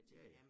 Ja ja